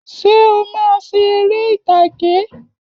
Ṣé o máa ṣe eré ìtàgé?